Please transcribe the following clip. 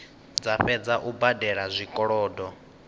dza fhedza u badela zwikolodo